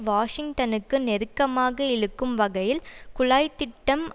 வாஷிங்டனுக்கு நெருக்கமாக இழுக்கும் வகையில் குழாய் திட்டம்